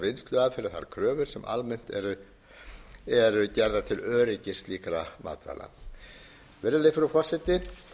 vinnsluaðferðir þær kröfur sem almennt eru gerðar til öryggis slíkra matvæla virðulegi frú forseti